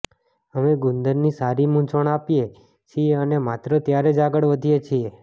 અમે ગુંદરની સારી મૂંઝવણ આપીએ છીએ અને માત્ર ત્યારે જ આગળ વધીએ છીએ